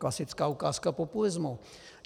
Klasická ukázka populismu.